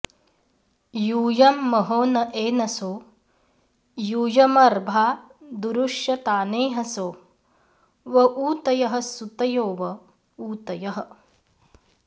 यूयं महो न एनसो यूयमर्भादुरुष्यतानेहसो व ऊतयः सुतयो व ऊतयः